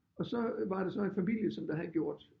Og så var der så en familie som der havde gjort